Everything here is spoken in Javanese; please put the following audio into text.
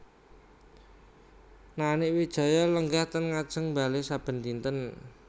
Nanik Wijaya lenggah teng ngajeng bale saben dinten